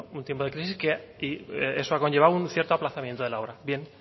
bueno un tiempo de crisis y eso ha llevado un cierto aplazamiento de la obra bien